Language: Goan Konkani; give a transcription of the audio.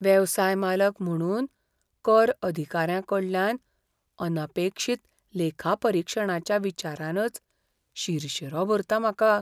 वेवसाय मालक म्हुणून, कर अधिकाऱ्यांकडल्यान अनपेक्षीत लेखापरीक्षणाच्या विचारानच शिरशीरो भरता म्हाका.